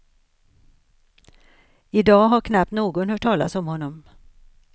I dag har knappt någon hört talas om honom.